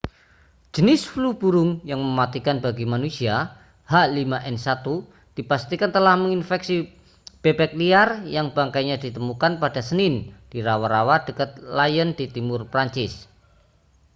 jenis flu burung yang mematikan bagi manusia h5n1 dipastikan telah menginfeksi bebek liar yang bangkainya ditemukan pada senin di rawa-rawa dekat lyon di timur prancis